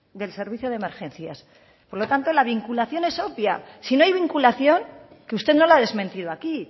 del servicio de emergencias por lo tanto la vinculación es obvia si no hay vinculación que usted no la ha desmentido aquí